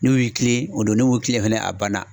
N'u yi kilen o do n'u mi kilen fɛnɛ a banna.